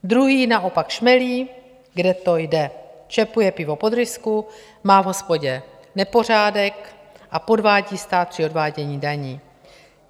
Druhý naopak šmelí, kde to jde, čepuje pivo pod rysku, má v hospodě nepořádek a podvádí stát při odvádění daní.